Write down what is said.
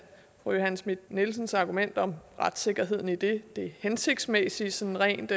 fru johanne schmidt nielsens argument om retssikkerheden i det det hensigtsmæssige sådan rent